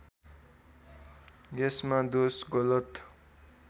यसमा दोष गलत